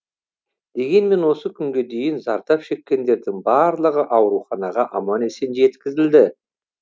дегенмен осы күнге дейін зардап шеккендердің барлығы ауруханаға аман есен жеткізілді